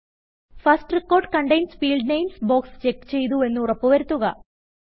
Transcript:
first record contains field namesബോക്സ് check ചെയ്തുവെന്ന് ഉറപ്പു വരുത്തുക